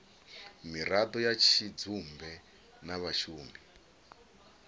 miraḓo ya tshidzumbe na vhashumi